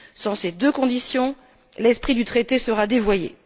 Sans ces deux conditions, l'esprit du traité sera dévoyé.